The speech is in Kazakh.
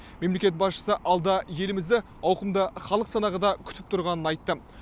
мемлекет басшысы алда елімізді ауқымды халық санағы да күтіп тұрғанын айтты